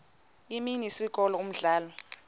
imini isikolo umdlalo